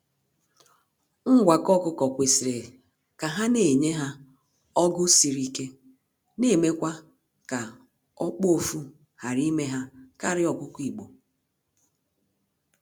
Ngwakọ ọkụkọ kwesịrị ka ha na enye ha ọgụ siri ike na emekwa ka okpuofu ghara ime ha karịa ọkụkọ igbo.